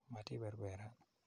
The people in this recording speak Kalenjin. Matii perperan.